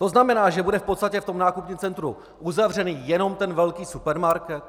To znamená, že bude v podstatě v tom nákupním centru uzavřen jenom ten velký supermarket?